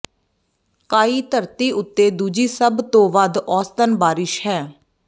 ਕਾਅਈ ਧਰਤੀ ਉੱਤੇ ਦੂਜੀ ਸਭ ਤੋਂ ਵੱਧ ਔਸਤਨ ਬਾਰਿਸ਼ ਹੈ